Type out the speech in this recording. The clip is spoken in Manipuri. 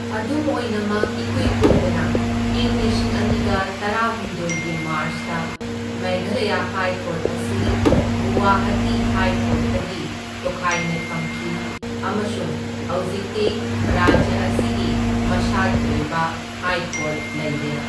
ꯑꯗꯨꯝ ꯑꯣꯏꯅꯃꯛ ꯏꯀꯨꯏ ꯀꯨꯏꯗꯅ ꯏꯪ ꯂꯤꯁꯤꯡ ꯑꯅꯤꯒ ꯇꯔꯥꯍꯨꯝꯗꯣꯢꯒꯤ ꯃꯥꯔꯁꯇ ꯃꯦꯘꯥꯂꯌꯥ ꯍꯥꯏ ꯀꯣꯔꯠ ꯑꯁꯤ ꯒꯨꯋꯥꯍꯇꯤ ꯍꯥꯏ ꯀꯣꯔꯠꯇꯒꯤ ꯇꯣꯈꯥꯏꯅ ꯊꯝꯈꯤ ꯑꯃꯁꯨꯡ ꯍꯧꯖꯤꯛꯇꯤ ꯔꯥꯖ꯭ꯌ ꯑꯁꯤꯒꯤ ꯃꯁꯥꯒꯤ ꯑꯣꯏꯕ ꯍꯥꯏ ꯀꯣꯔꯠ ꯂꯩꯔꯦ꯫